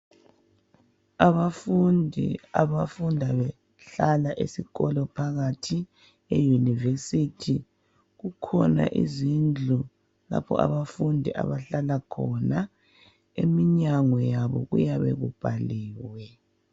Abafundi abafunda behlala esikolo phakathi eYunivesithi kukhona izindlu lapho abafundi abahlala khona eminyango yabo kuyabe kubhaliwe